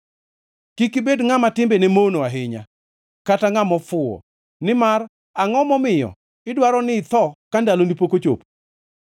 Kik ibed ngʼama timbene mono ahinya kata ngʼama ofuwo, nimar angʼo momiyo idwaro ni itho ka ndaloni pok ochopo?